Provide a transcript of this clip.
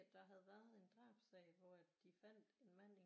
At der havde været en drabssag hvor at de fandt en mand i